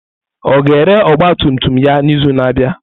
Ọ ga-ere ọgba tum tum ya n'izu na-abịa?